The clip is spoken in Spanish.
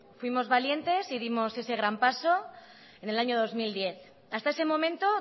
fuimos valientes y dimos ese gran paso en el año dos mil diez hasta ese momento